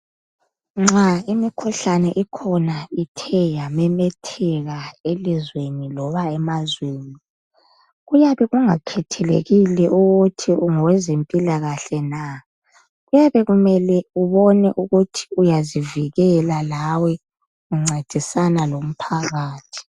Nxa imikhuhlane ikhona ithe yamemetheka elizweni loba emazweni, kuyabe kungakhethelekile ukuthi ungowezimpilakahle na. Kuyabe kumele ubone ukuthi uyazivikela lawe uncedisana lomphakathi.